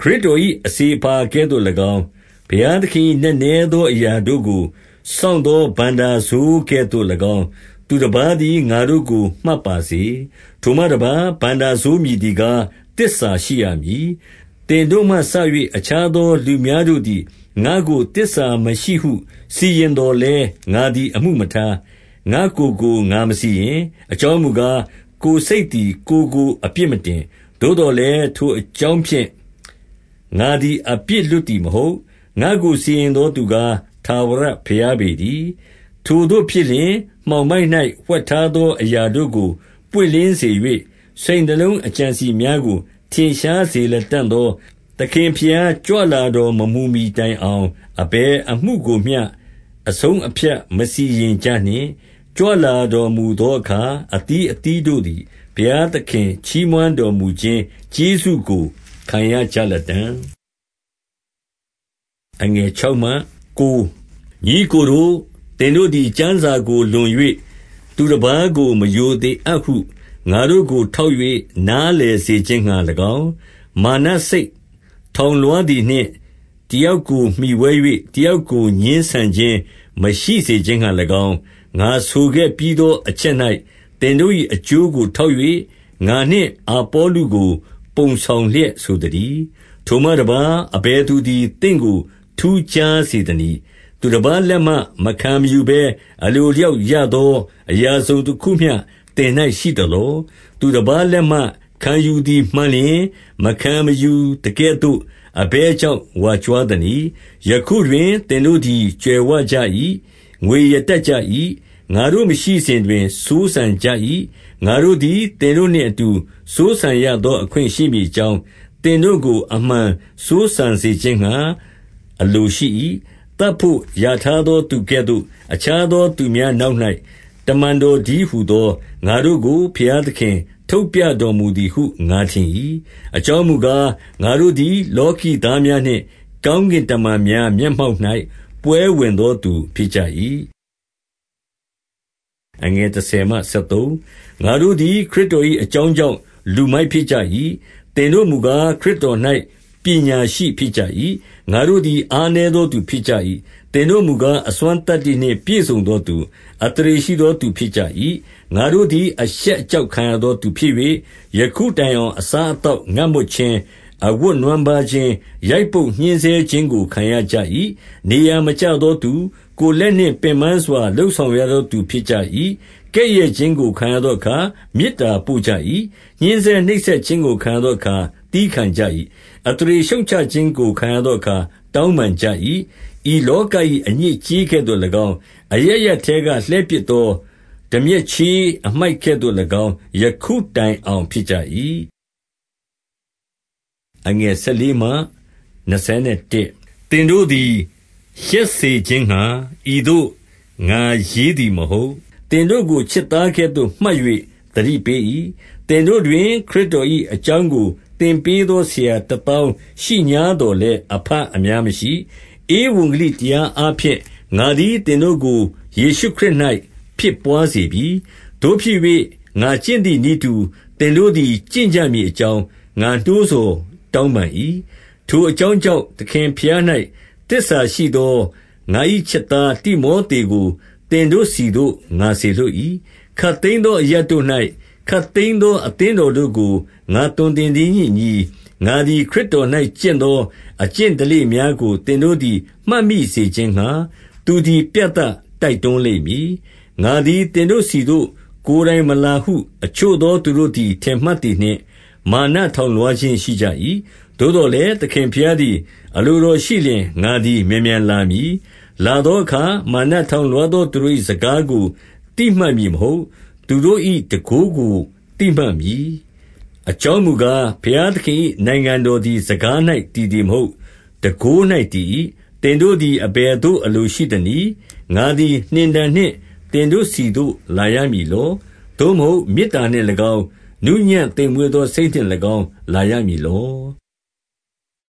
ခရစ်တော်၏ အစေအပါ ကဲ့သို့၎င်း၊ ဘုရားသခင်၏ နက်နဲသော အရာတို့ကို စောင့်သော ဘဏ္ဍာစိုး ကဲ့သို့၎င်း၊ သူတပါးသည် ငါတို့ကို မှတ်ပါစေ။ 2 ထိုမှတပါး၊ ဘဏ္ဍာစိုးမည်သည်ကား၊ သစ္စာရှိရမည်။ 3 သင်တို့မှစ၍ အခြားသောလူများတို့သည် ငါ့ကို သစ္စာမရှိဟု စီရင်သော်လည်း၊ ငါသည်အမှုမထား။ ငါ့ကိုယ်ကို ငါမစီရင်။ 4 အကြောင်းမူကား၊ ကိုယ်စိတ်သည် ကိုယ်ကို အပြစ်မတင်။ သို့သော်လည်း၊ ထိုအကြောင်းဖြင့် ငါသည် အပြစ်လွတ်သည်မဟုတ်။ ငါ့ကို စီရင်သောသူကား၊ ထာဝရဘုရားပေတည်း။ 5 ထိုသို့ဖြစ်လျှင်မှောင်မိုက်၌ ဝှက်ထားသော အရာတို့ကို ပွင့်လင်း စေ၍ စိတ်နှလုံးအကြံအစည်များကို ထင်ရှားစေလတံ့သော သခင်ဘုရား ကြွလာတော်မမူမှီ တိုင်အောင် အဘယ်အမှုကိုမျှ အဆုံးအဖြတ် မစီရင် ကြနှင့်။ ကြွလာတော်မူသောအခါ၊ အသီးသီးတို့သည် ဘုရားသခင်ချီးမွမ်းတော်မူခြင်းကျေးဇူးကို ခံရကြလတံ့။ 6 ညီအစ်ကိုတို့၊ သင်တို့သည် ကျမ်းစာကို လွန်၍ သူတပါးကို မရိုသေအပ်ဟု ငါတို့ကိုထောက်၍ နားလည် စေခြင်းငှါ၎င်း၊ မာနစိတ်ထောင်လွှားသည်နှင့် တယောက်ကိုမှီဝဲ၍ တယောက်ကိုငြင်းဆန်ခြင်း မရှိစေခြင်းငှါ၎င်း၊ ငါဆိုခဲ့ပြီးသောအချက်၌ သင်တို့၏ အကျိုးကို ထောက်၍ ငါနှင့်အာပေါလုကို ပုံဆောင်လျက် ဆိုသတည်း။ 7 ထိုမှတပါး၊ အဘယ်သူသည် သင့်ကိုထူးခြားစေသနည်း။ သူတပါးလက်မှ မခံမယူဘဲ အလိုအလျောက် ရသော အရာတစုံတခုမျှ သင်၌ရှိသလော။ သူတပါးလက်မှ ခံယူသည်မှန်လျှင်၊ မခံမယူသကဲ့သို့ အဘယ်ကြောင့် ဝါကြွားသနည်း။ 8 ယခုတွင် သင်တို့သည် ကြွယ်ဝကြ၏။ ငွေရ တတ်ကြ၏။ ငါတို့ မရှိစဉ်တွင်စိုးစံကြ၏။ ငါတို့သည် သင်တို့နှင့်အတူ စိုးစံရသော အခွင့်ရှိမည်အကြောင်း၊ သင်တို့ကို အမှန်စိုးစံစေခြင်းငှါ အလိုရှိ၏။ 9 သတ်ဘို့ရာထားသောသူကဲ့သို့ အခြားသော သူများနောက်၌ တမန်တော်တည်းဟူသော ငါတို့ကို ဘုရားသခင်ထုတ်ပြတော်မူသည်ဟု ငါထင်၏။ အကြောင်းမူကား၊ ငါတို့သည် လောကီသားများနှင့် ကောင်းကင်တမန်များ မျက်မှောက်၌ ပွဲဝင်သောသူ ဖြစ်ကြ၏။ 10 ငါတို့သည် ခရစ်တော်၏ အကြောင်းကြောင့် လူမိုက်ဖြစ်ကြ၏။ သင်တို့မူကား၊ ခရစ်တော်၌ ပညာရှိ ဖြစ်ကြ၏။ ငါတို့သည် အားနည်းသောသူ ဖြစ်ကြ၏။ သင်တို့မူကား၊ အစွမ်းသတ္တိနှင့် ပြည့်စုံသောသူ၊ အသရေ ရှိသောသူ ဖြစ်ကြ၏။ ငါတို့သည် အရှက်အကြောက် ခံရသော သူဖြစ်၍၊ 11 ယခုတိုင်အောင် အစားအသောက်ငတ်မွတ်ခြင်း၊ အဝတ်နွမ်းပါးခြင်း၊ ရိုက်ပုတ်ညှဉ်းဆဲခြင်းကို ခံရကြ၏။ နေရာမကျသောသူ၊ 12 ကိုယ်လက်နှင့်ပင်ပန်းစွာ လုပ်ဆောင်ရသောသူ ဖြစ်ကြ၏။ ကဲ့ရဲ့ခြင်းကို ခံရသောအခါ မေတ္တာပို့ကြ၏။ ညှဉ်းဆဲနှိပ်စက်ခြင်းကို ခံရသောအခါ သည်းခံကြ၏။ 13 အသရေရှုတ်ချခြင်းကို ခံရသောအခါ တောင်းပန်ကြ၏။ ဤလောက၏ အညစ်အကြေးကဲ့သို့၎င်း၊ အရပ်ရပ်ထဲက လှည်းပစ်သော တန်မြက်ချေး အမှိုက် ကဲ့သို့၎င်း၊ ယခုတိုင်အောင်ဖြစ်ကြ၏။ 14 သင်တို့သည် ရှက်စေခြင်းငှါ ဤသို့ငါရေးသည် မဟုတ်။ သင်တို့ကို ချစ်သားကဲ့သို့ မှတ်၍ သတိပေး၏။ 15 သင်တို့တွင် ခရစ်တော်၏အကြောင်းကို သင်ပေးသော ဆရာတသောင်းရှိငြားသော်လည်း၊ အဘ အများမရှိ။ ဧဝံဂေလိတရားအားဖြင့် ငါသည် သင်တို့ကို ယေရှုခရစ်၌ ဖြစ်ဘွားစေပြီ။ 16 သို့ဖြစ်၍၊ ငါကျင့်သည်နည်းတူ သင်တို့သည် ကျင့်ကြမည်အကြောင်း ငါနှိုးဆော် တောင်းပန်၏။ 17 ထိုအကြောင်းကြောင့် သခင်ဘုရား၌ သစ္စာရှိသော ငါ၏ချစ်သားတိမောသေကို သင်တို့ဆီသို့ ငါ စေလွှတ်၏။ ခပ်သိမ်းသော အရပ်တို့၌ ခပ်သိမ်းသော အသင်းတော်တို့ကို ငါသွန်သင်သည်နှင့်အညီ၊ ငါသည် ခရစ်တော်၌ကျင့်သော အကျင့်ဓလေ့များကို သင်တို့သည် မှတ်မိစေခြင်းငှါ သူသည် ပြသတိုက်တွန်းလိမ့်မည်။ 18 ငါသည်သင်တို့ဆီသို့ ကိုယ်တိုင်မလာဟု အချို့သော သူတို့သည် ထင်မှတ်သည်နှင့်၊ မာနထောင်လွှားခြင်း ရှိကြ၏။ 19 သို့သော်လည်း သခင်ဘုရားသည် အလိုတော်ရှိ လျှင် ငါသည် မြန်မြန်လာမည်။ လာသောအခါ မာန ထောင်လွှားသောသူတို့၏ စကားကို သိမှတ်မည်မဟုတ်။ သူတို့၏တန်ခိုးကို သိမှတ်မည်။ 20 အကြောင်းမူကား၊ ဘုရားသခင်၏နိုင်ငံတော်သည် စကား၌ တည်သည်မဟုတ်၊ တန်ခိုး၌ တည်၏။ 21 သင်တို့သည် အဘယ်သို့ အလိုရှိသနည်း။ ငါသည်နှင်တံနှင့် သင်တို့ဆီသို့လာရမည်လော။ သို့မဟုတ် မေတ္တာနှင့် ၎င်း၊ နူးညံ့သိမ်မွေ့သော စိတ်နှင့်၎င်း၊ လာရမည်လော။